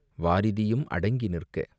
"வாரிதியும் அடங்கி நிற்க